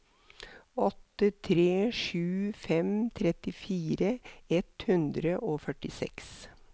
åtte tre sju fem trettifire ett hundre og førtiseks